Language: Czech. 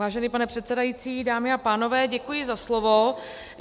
Vážený pane předsedající, dámy a pánové, děkuji za slovo.